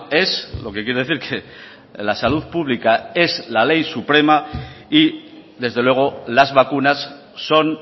es lo que quiere decir que la salud pública es la ley suprema y desde luego las vacunas son